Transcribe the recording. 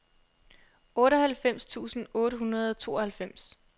otteoghalvfems tusind otte hundrede og tooghalvfems